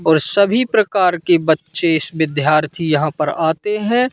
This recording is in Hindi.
और सभी प्रकार के बच्चे इस विद्यार्थी यहां पर आते हैं।